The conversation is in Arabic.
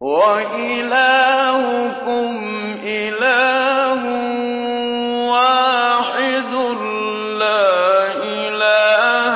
وَإِلَٰهُكُمْ إِلَٰهٌ وَاحِدٌ ۖ لَّا إِلَٰهَ